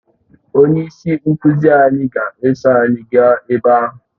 Onye isi nkuzi anyị ga-eso anyị gaa ebe ahụ